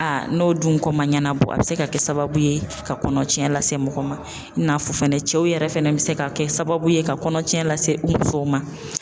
Aa n'o dun ko ma ɲɛnabɔ a bɛ se ka kɛ sababu ye ka kɔnɔtiɲɛ lase mɔgɔ ma, i n'a fɔ fɛnɛ cɛw yɛrɛ fɛnɛ bɛ se ka kɛ sababu ye ka kɔnɔtiɲɛ lase u musow ma.